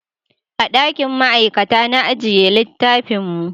A dakin ma'aikata na ajiye littafin mu